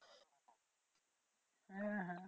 হ্যাঁ হ্যাঁ